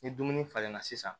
Ni dumuni falenna sisan